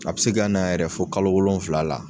A bɛ se ka na yɛrɛ fo kalo wolonfula la.